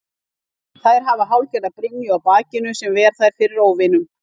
Þær hafa hálfgerða brynju á bakinu sem ver þær fyrir óvinum.